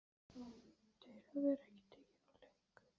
Til að vera ekki tekinn úr leik.